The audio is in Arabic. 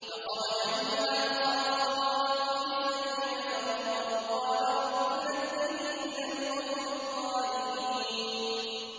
فَخَرَجَ مِنْهَا خَائِفًا يَتَرَقَّبُ ۖ قَالَ رَبِّ نَجِّنِي مِنَ الْقَوْمِ الظَّالِمِينَ